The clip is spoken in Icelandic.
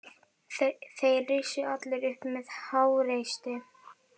Þeir risu allir upp með háreysti.